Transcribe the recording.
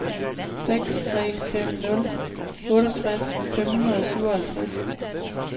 seks tre fem nul otteogtres fem hundrede og syvoghalvtreds